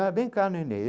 Ah, vem cá, nenê.